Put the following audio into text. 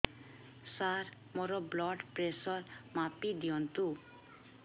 ସାର ମୋର blood pressure ମାପି ଦିଅନ୍ତୁ